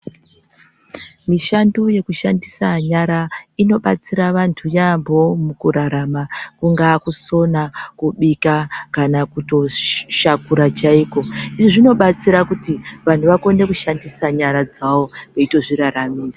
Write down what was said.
Mushando yekushandida nyara inobatsira antu yaampho mukurarama, kungaa kusona ,kubika kana kutoshiiishakura chaiko. Izvi zvinobatsira kuti ,vanhu vakone kushandisa nyara dzavo, veitozvoraramisa.